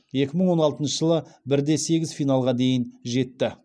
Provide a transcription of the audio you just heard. екі мың он алтыншы жылы бір де сегіз финалға дейін жетті